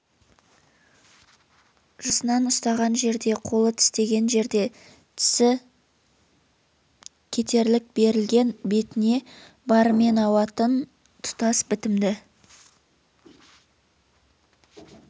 жасынан ұстаған жерде қолы тістеген жерде тісі кетерлік берілген бетіне барымен ауатын тұтас бітімді